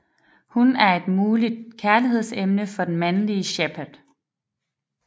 Hun er et muligt kærligheds emne for den mandelige Shepard